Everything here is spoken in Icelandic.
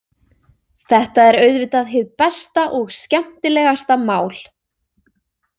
Þetta er auðvitað hið besta og skemmtilegasta mál.